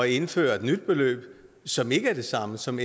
indføre et nyt beløb som ikke er det samme som